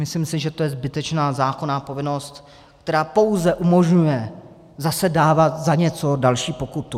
Myslím si, že to je zbytečná zákonná povinnost, která pouze umožňuje zase dávat za něco další pokutu.